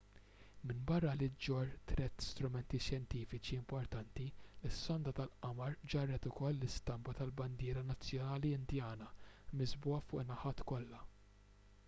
minbarra li ġġorr tliet strumenti xjentifiċi importanti is-sonda tal-qamar ġarret ukoll l-istampa tal-bandiera nazzjonali indjana miżbugħa fuq in-naħat kollha